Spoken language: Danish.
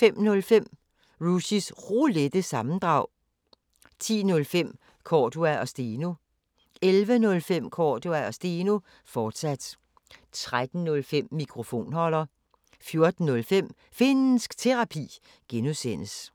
05:05: Rushys Roulette – sammendrag 10:05: Cordua & Steno 11:05: Cordua & Steno, fortsat 13:05: Mikrofonholder 14:05: Finnsk Terapi (G)